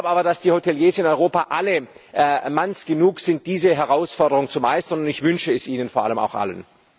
Ich glaube aber, dass die Hoteliers in Europa alle Manns genug sind, diese Herausforderung zu meistern, und ich wünsche es ihnen vor allem auch allen.